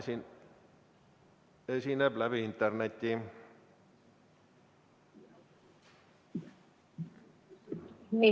Tema esineb interneti vahendusel.